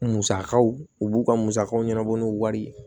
Musakaw u b'u ka musakaw ɲɛnabɔ n'u wari ye